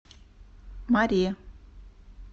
маре